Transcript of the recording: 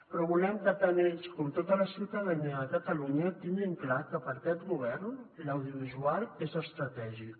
però volem que tant ells com tota la ciutadania de catalunya tinguin clar que per aquest govern l’audiovisual és estratègic